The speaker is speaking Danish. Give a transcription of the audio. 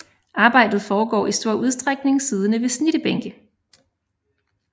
Arbejdet foregår i stor udstrækning siddende ved snittebænke